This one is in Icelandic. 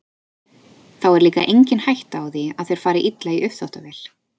Þá er líka engin hætta á því að þeir fari illa í uppþvottavél.